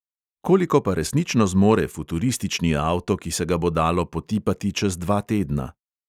Koliko pa resnično zmore futuristični avto, ki se ga bo dalo potipati čez dva tedna?